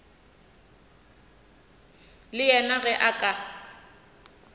le yena ge a ka